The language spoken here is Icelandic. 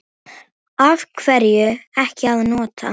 Af hverju ekki að nota?